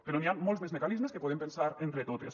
però n’hi han molts més mecanismes que podem pensar entre totes